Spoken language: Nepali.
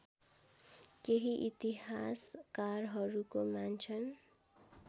केही इतिहासकारहरूको मान्छन्